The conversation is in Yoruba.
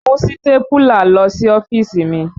Mú sítápúlà lọ sí ọ́fíìsì mi!